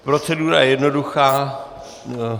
Procedura je jednoduchá.